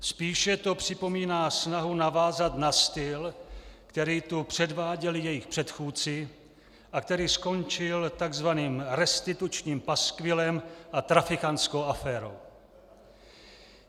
Spíše to připomíná snahu navázat na styl, který tu předváděli jejich předchůdci a který skončil takzvaným restitučním paskvilem a trafikantskou aférou.